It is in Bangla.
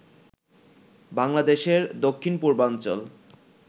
বাংলাদেশের দক্ষিণ পূর্বাঞ্চল